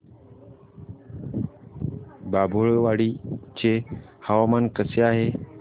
बाभुळवाडी चे हवामान कसे आहे